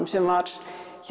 sem var